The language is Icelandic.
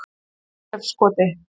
Þorleifskoti